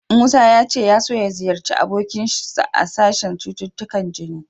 Musa ya ce ya so ya ziyarci abokinsa a sashen cututtukan jini.